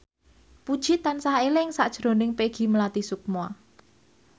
Puji tansah eling sakjroning Peggy Melati Sukma